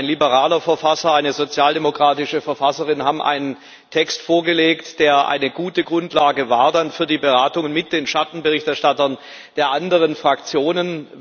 Ein liberaler Verfasser, eine sozialdemokratische Verfasserin haben einen Text vorgelegt, der eine gute Grundlage war für die Beratungen mit den Schattenberichterstattern der anderen Fraktionen.